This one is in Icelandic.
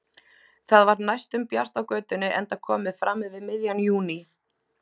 Það var næstum bjart á götunni enda komið fram yfir miðjan júní.